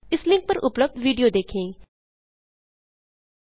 इस लिंक पर उपलब्ध विडियो देखें httpspoken tutorialorgWhat इस आ स्पोकेन ट्यूटोरियल